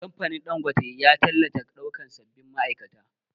Kamfanin Ɗangote ya tallata ɗaukan sabbin ma'aikata